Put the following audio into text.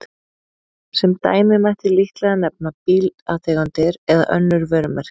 Sem dæmi mætti líklega nefna bílategundir eða önnur vörumerki.